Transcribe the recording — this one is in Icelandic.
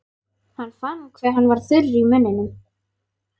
Hann fann hve hann var þurr í munninum.